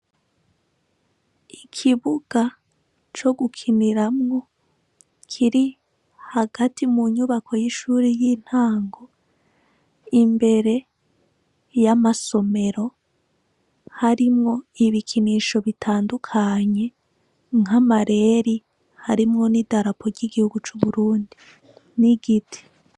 Ikibuga co gukiniramwo kiri hagati mu nyubako y'ishuri y'intango, imbere y'amasomero harimwo ibikinisho bitandukanye nkamareri harimwo n'i darapo ry’igihugu c’uburundi ni igiti.